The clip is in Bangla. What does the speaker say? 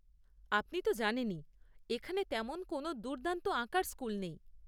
আপনি তো জানেনই এখানে তেমন কোন দুর্দান্ত আঁকার স্কুল নেই।